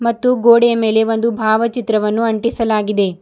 ಮತ್ತು ಗೋಡೆಯ ಮೇಲೆ ಒಂದು ಭಾವಚಿತ್ರವನ್ನು ಅಂಟಿಸಲಾಗಿದೆ.